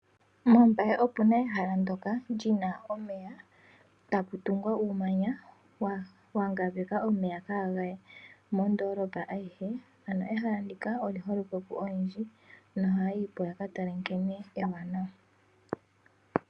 MOmbaye opu na ehala ndyoka li na omeya tapu tungwa uumanya wa ngambeka omeya kaaga ye mondoolopa ayihe. Ehala ndika oli holike koyendji nohaya yi po ya ka tale nkene ewanawa.